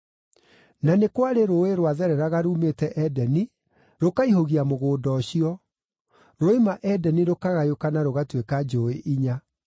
Na nĩ kwarĩ rũũĩ rwathereraga ruumĩte Edeni rũkaihũgia mũgũnda ũcio; ruoima Edeni rũkagayũkana rũgatuĩka njũũĩ inya.